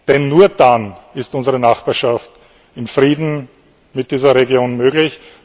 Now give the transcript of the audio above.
Denn nur dann ist unsere Nachbarschaft in Frieden mit dieser Region möglich.